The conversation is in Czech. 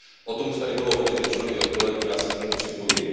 O tom už tady bylo hodně řečeno i od kolegů, já se k tomu připojuji.